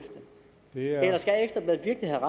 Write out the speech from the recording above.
nye regering er